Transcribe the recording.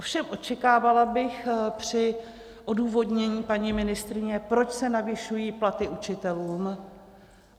Ovšem očekávala bych při odůvodnění paní ministryně, proč se navyšují platy učitelům.